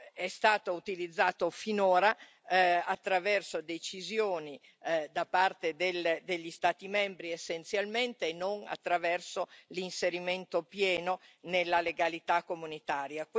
è stato utilizzato finora attraverso decisioni da parte degli Stati membri, essenzialmente, e non attraverso l'inserimento pieno nella legalità comunitaria.